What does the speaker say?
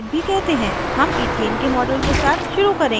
हम इथेन के model के साथ शुरू करेंगे